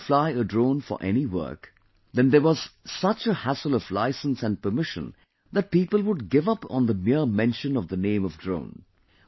If you have to fly a drone for any work, then there was such a hassle of license and permission that people would give up on the mere mention of the name of drone